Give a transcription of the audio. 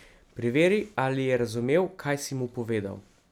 Preveri, ali je razumel, kaj si mu povedal.